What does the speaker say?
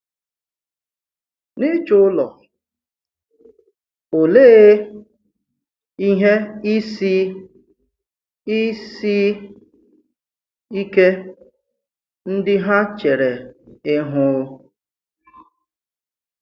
N’ịchọ̀ ụlọ, òleè ihe ìsì ìsì ike ndị ha chèrè ihu?